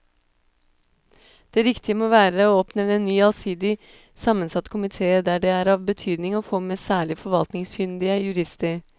Det riktige må være å oppnevne en ny allsidig sammensatt komite der det er av betydning å få med særlig forvaltningskyndige jurister.